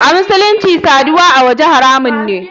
A musulunci sadiwa awace haramun ne.